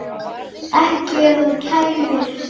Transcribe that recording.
Ekki ef þú kæmir.